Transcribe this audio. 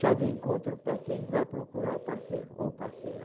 chá de encontro para quem vai procurar o parceiro ou parceira.